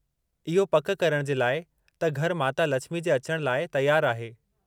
इहो पकि करणु जे लाइ त घरु माता लछिमी जे अचणु लाइ तयारु आहे।